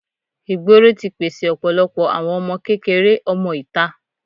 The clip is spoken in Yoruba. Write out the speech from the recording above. ìgboro ti pèsè ọ̀pọ̀lọpọ̀ àwọn ọmọ kékeré ọmọ ìta.